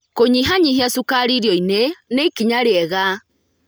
Kũnyihanyihia cukari irio-inĩ nĩ ikinya rĩega.